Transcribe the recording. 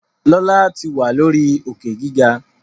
Lọla tí wá lórí Òkè-gíga.